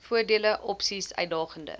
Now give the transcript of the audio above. voordele opsies uitdagende